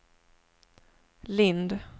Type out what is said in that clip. Lindh